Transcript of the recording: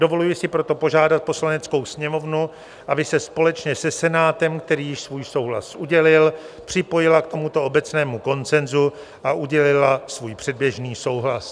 Dovoluji si proto požádat Poslaneckou sněmovnu, aby se společně se Senátem, který již svůj souhlas udělil, připojila k tomuto obecnému konsenzu a udělila svůj předběžný souhlas.